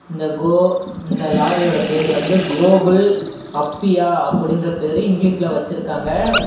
இந்த கோ இந்த லாரியோட பேரு வந்து கோகுல் அப்பியா அப்படின்ற பேரு இங்கிலீஷ்ல வெச்சுருக்காங்க.